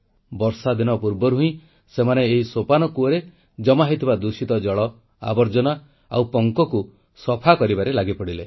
ବର୍ଷାଦିନ ପୂର୍ବରୁ ହିଁ ସେମାନେ ଏହି ସୋପାନ କୂପରେ ଜମା ହୋଇଥିବା ଦୂଷିତ ଜଳ ଆବର୍ଜନା ଓ ପଙ୍କକୁ ସଫା କରିବାରେ ଲାଗିପଡ଼ିଲେ